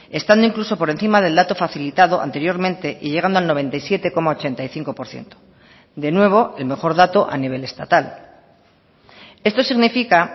estando incluso por encima del dato facilitado anteriormente y llegando al noventa y siete coma ochenta y cinco por ciento de nuevo el mejor dato a nivel estatal esto significa